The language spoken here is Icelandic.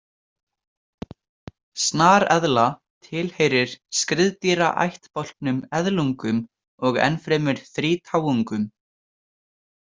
Snareðla tilheyrir skriðdýraættbálknum eðlungum og ennfremur þrítáungum.